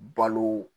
Balo